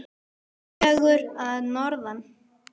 Sögur að norðan.